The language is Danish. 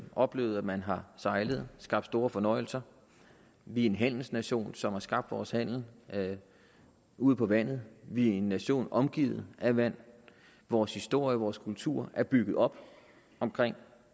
oplevet at man har sejlet og skabt store fornøjelser vi er en handelsnation som har skabt vores handel ude på vandet vi er en nation omgivet af vand vores historie og vores kultur er bygget op omkring